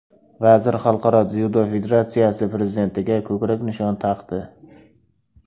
Vazir Xalqaro dzyudo federatsiyasi prezidentiga ko‘krak nishon taqdi.